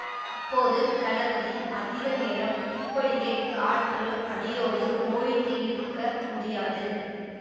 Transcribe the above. அப்போது கலபதி அதிக நேரம் இப்படியே காற்று அடியோடு ஓய்ந்து இருக்க முடியாது